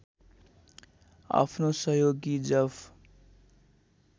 आफ्नो सहयोगी जफ